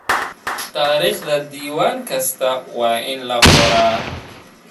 Taariikhda diiwaan kasta waa in la qoraa.